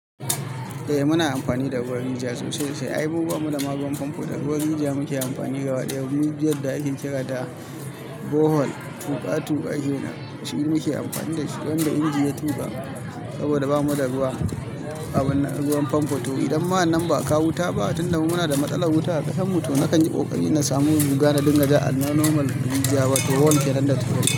Eh muna amfani da ruwan rijiya sosai sai ai mu ba mu da ma ruwan fanfo, da ruwan rijiya muke amfani gaba ɗaya. Rijiyar da ake kira da bohol tuƙa-tuƙa kenan, shi muke amfani da shi don da inji ya tuba saboda ba mu da ruwa abin nan ruwan fanfo. To idan ma wannan ba ka wuta ba, tun da muna da matsalar wuta a ƙasan mu, to na kan yi ƙoƙari na samu riga na dinga ja a normal rijiya, wato warm ke randa tuwo.